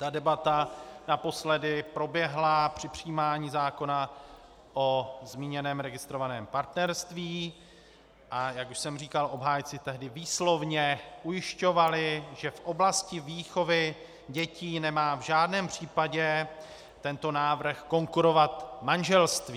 Ta debata naposledy proběhla při přijímání zákona o zmíněném registrovaném partnerství, a jak už jsem říkal, obhájci tehdy výslovně ujišťovali, že v oblasti výchovy dětí nemá v žádném případě tento návrh konkurovat manželství.